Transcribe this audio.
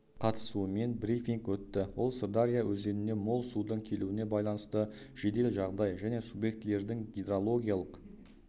қатысуымен брифинг өтті ол сырдария өзеніне мол судың келуіне байланысты жедел жағдай және субъектілердің гидрологиялық